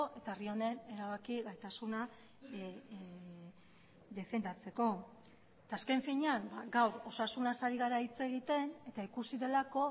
eta herri honen erabaki gaitasuna defendatzeko eta azken finean gaur osasunaz ari gara hitz egiten eta ikusi delako